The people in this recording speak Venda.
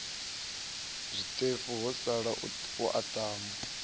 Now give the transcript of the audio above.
zwiṱefu ho sala u aṱama